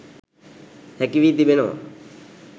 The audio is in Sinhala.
හැකි වී තිබෙනවා.